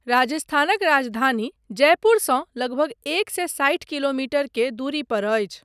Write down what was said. राजस्थानक राजधानी जयपुरसँ लगभग एक सए साठि किलोमीटर के दूरी पर अछि।